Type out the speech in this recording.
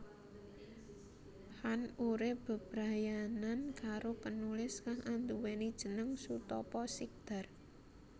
Khan urip bebrayanan karo penulis kang anduwèni jeneng Sutapa Sikdar